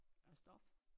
Af stof